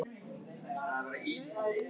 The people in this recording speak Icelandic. Útidyrnar opnuðust og Svanur æddi inn.